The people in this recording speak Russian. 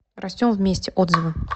растем вместе отзывы